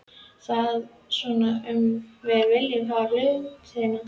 Er það svona sem við viljum hafa hlutina?